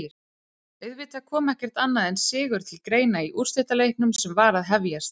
Auðvitað kom ekkert annað en sigur til greina í úrslitaleiknum sem var að hefjast.